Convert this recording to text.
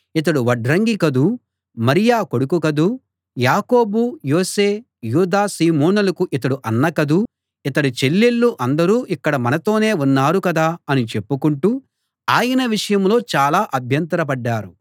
ఇతడు వడ్రంగి కదూ మరియ కొడుకు కదూ యాకోబు యోసే యూదా సీమోనులకు ఇతడు అన్న కదూ ఇతడి చెల్లెళ్ళు అందరూ ఇక్కడ మనతోనే ఉన్నారు కదా అని చెప్పుకుంటూ ఆయన విషయంలో చాలా అభ్యంతరపడ్డారు